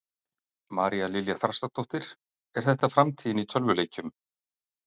María Lilja Þrastardóttir: Er þetta framtíðin í tölvuleikjum?